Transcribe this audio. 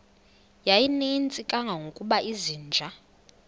yayininzi kangangokuba izinja